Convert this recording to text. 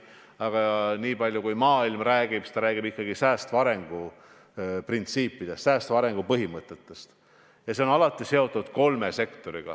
Aga maailmas käib jutt ikkagi säästva arengu põhimõtetest ja need on alati seotud kolme sektoriga.